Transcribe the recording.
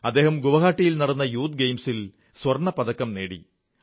അദ്ദേഹം ഗുവാഹതിയിൽ നടന്ന യൂത്ത് ഗെയിംസിൽ സ്വർണ്ണപ്പതക്കം നേടി